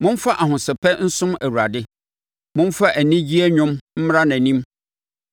Momfa ahosɛpɛ nsom Awurade; momfa anigyeɛ nnwom mmra nʼanim.